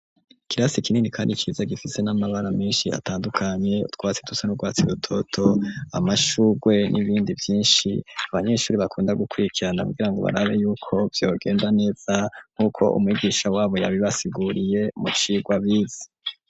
Kirasi ikinini, kandi ciza gifise n'amabara menshi atandukanye utwatsi dusa n'urwatsi rutoto amashurwe n'ibindi vyinshi abanyeshuri bakunda gukwikirana kugira ngo barare yuko vyogenda neza nk'uko umwigisha wabo yabibasiguriye mu cirwa biza.